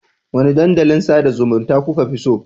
Wanne dandalin sada zumunta kuka fi so?